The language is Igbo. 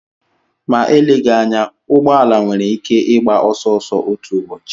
Ma eleghị anya, ụgbọ ala nwere ike ịgba ọsọ ọsọ otu ụbọchị.